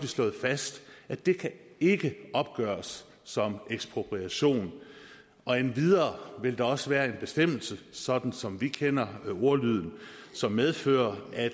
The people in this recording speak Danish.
slået fast at det ikke kan opgøres som ekspropriation endvidere vil der også være en bestemmelse sådan som vi kender ordlyden som medfører at